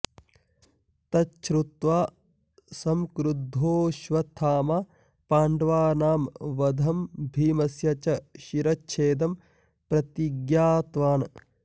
तच्छुत्वा संक्रुद्धोश्वत्थामा पाण्डवानां वधं भीमस्य च शिरश्छेदं प्रतिज्ञातवान्